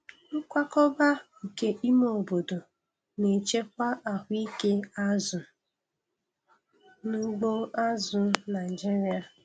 Nkwakọba nke ime obodo na-echekwa ahụike azụ n'ugbo azụ̀ Naịjiria.